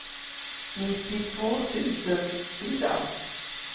nittiotvå tusen fyra